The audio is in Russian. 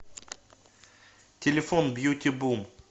телефон бьюти бум